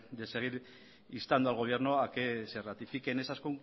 de seguir instando al gobierno a que se ratifique en esas